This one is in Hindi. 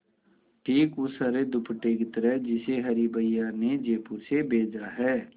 ठीक उस हरे दुपट्टे की तरह जिसे हरी भैया ने जयपुर से भेजा है